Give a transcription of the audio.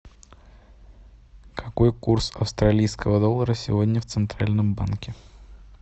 какой курс австралийского доллара сегодня в центральном банке